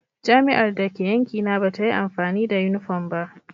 Jami'ar da ke yankina ba ta yi amfani da yunifom ba.